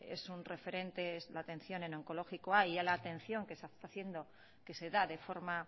es un referente la atención en onkologikoa y a la atención que se está haciendo que se da de forma